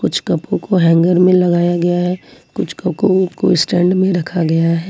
कुछ कपों को हैंगर में लगाया गया है कुछ कपों को स्टैंड में रखा गया है।